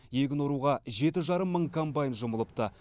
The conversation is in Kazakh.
егін оруға жеті жарым мың комбайн жұмылыпты